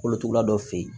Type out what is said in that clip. Kolotugula dɔ fe yen